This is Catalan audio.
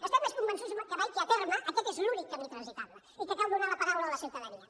estem més convençuts que mai que a terme aquest és l’únic camí transitable i que cal donar la paraula a la ciutadania